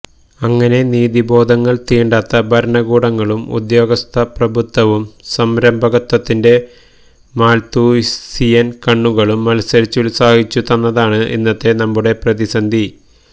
അങ്ങനെ നീതിബോധങ്ങള് തീണ്ടാത്ത ഭരണകൂടങ്ങളും ഉദ്യോഗസ്ഥ പ്രഭുത്വവും സംരംഭകത്വത്തിന്റെ മാല്ത്തൂസിയന് കണ്ണുകളും മത്സരിച്ചുത്സാഹിച്ചു തന്നതാണ് ഇന്നത്തെ നമ്മുടെ പ്രതിസന്ധി